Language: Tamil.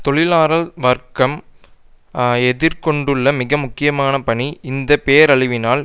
தொழிலாளர் வர்க்கம் எதிர் கொண்டுள்ள மிக முக்கியமான பணி இந்த பேரழிவினால்